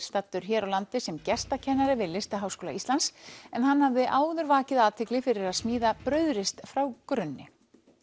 staddur hér á landi sem gestakennari við Listaháskóla Íslands en hann hafði áður vakið athygli fyrir að smíða brauðrist frá grunni